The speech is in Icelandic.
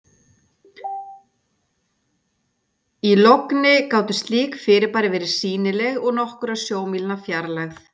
í logni gátu slík fyrirbæri verið sýnileg úr nokkurra sjómílna fjarlægð